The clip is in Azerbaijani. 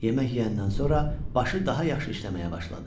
Yemək yeyəndən sonra başı daha yaxşı işləməyə başladı.